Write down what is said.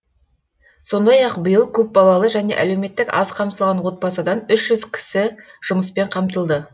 сондай ақ биыл көпбалалы және әлеуметтік аз қамтылған отбасыдан үш жүз кісі жұмыспен қамтылды